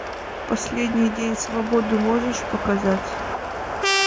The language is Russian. последний день свободы можешь показать